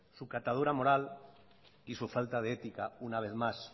su catadura moral y su falta de ética una vez más